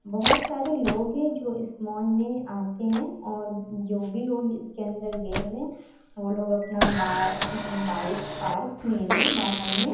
बहुत सारे लोग है जो इस मॉल मे आते है और जो भी लोग इसके अंदर गए हुए है वो लोग अपना बा-बाइक पार्क किए हुए है बाहर मे---